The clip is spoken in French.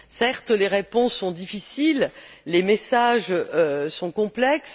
Certes, les réponses sont difficiles, les messages sont complexes.